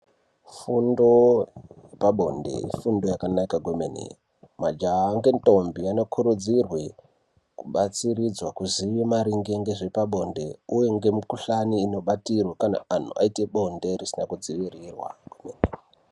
Fundo yepabonde ifundo yakanaka kwemene , majaha ngendombi anokurudzirwe kubatsiridzwa kuziye maringe ngezvepabonde uye ngemikhuhlani inobatirwe kana antu aziye blonde risina kudzivirirwa.